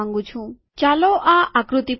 ચાલો આ આકૃતિ પર જઈએ